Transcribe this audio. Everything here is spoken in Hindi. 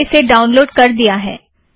मैंने इसे डाउनलोड़ कर दिया है